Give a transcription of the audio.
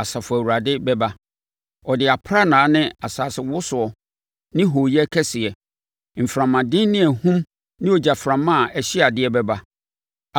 Asafo Awurade bɛba. Ɔde aprannaa ne asasewosoɔ ne hooyɛ kɛseɛ, mframaden ne ahum ne ogyaframa a ɛhye adeɛ bɛba.